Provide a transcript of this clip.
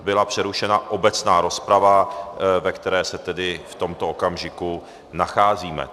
Byla přerušena obecná rozprava, ve které se tedy v tomto okamžiku nacházíme.